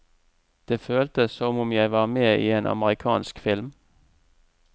Det føltes som om jeg var med i en amerikansk film.